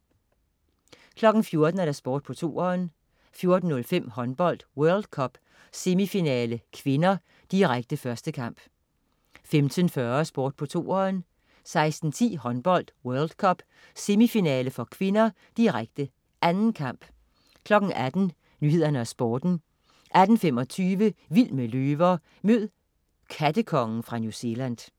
14.00 Sport på 2'eren 14.05 Håndbold: World Cup, semifinale (k), direkte. 1. kamp 15.40 Sport på 2'eren 16.10 Håndbold: World Cup, semifinale (k), direkte. 2. kamp 18.00 Nyhederne og Sporten 18.25 Vild med løver. Mød "kattekongen" fra New Zealand